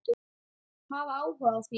Hafa áhuga á því.